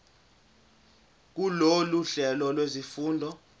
kulolu hlelo lwezifundo